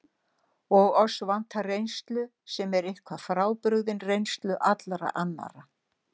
Og oss vantar reynslu, sem er eitthvað frábrugðin reynslu allra annarra.